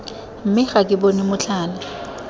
mme ga ke bone motlhala